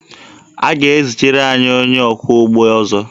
A ga-ezitere anyị onye ọkwọ ụgbọelu ọzọ.